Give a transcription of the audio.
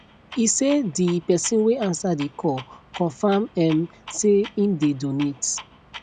e say di pesin wey ansa di call confam um say im dey donate